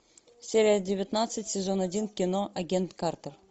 серия девятнадцать сезон один кино агент картер